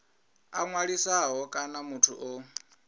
a ṅwalisaho kana muthu o